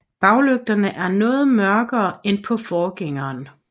Baglygterne er noget mørkere end på forgængeren